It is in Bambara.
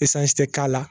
ɛsansi tɛ k'a la